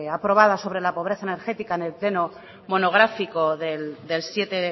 aprobada sobre la pobreza energética en el pleno monográfico del siete